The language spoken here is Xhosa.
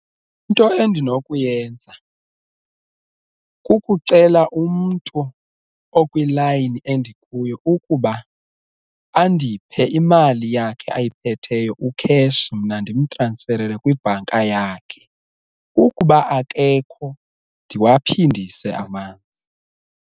Into endinokuyenza kukucela umntu okwilayini endikuyo ukuba andiphe imali yakhe ayiphetheyo u-cash mna ndimtransferele kwibhanka yakhe, ukuba akekho ndiwaphindise amanzi.